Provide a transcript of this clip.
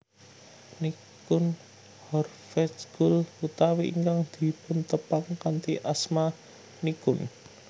Nichkhun Horvejkul utawi ingkang dipuntepang kanthi asma Nichkhun